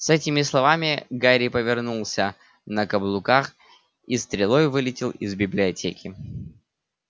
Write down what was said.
с этими словами гарри повернулся на каблуках и стрелой вылетел из библиотеки